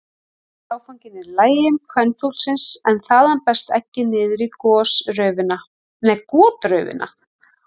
Síðasti áfanginn er í legi kvenfuglsins en þaðan berst eggið niður í gotraufina.